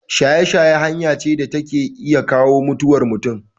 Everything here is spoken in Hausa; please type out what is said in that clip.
Shaye-shaye hanya ce da ke iya kawo mutuwar mutum.